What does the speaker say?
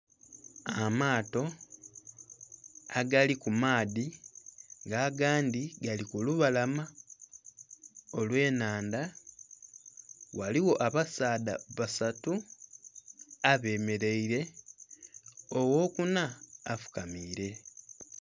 Amaato agali ku maadhi nga agandhi gali ku lubalama, olw'ennhandha. Ghaligho abasaadha basatu abemeleile, ogh'okuna afukamiile.